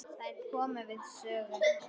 Þær komu við sögu.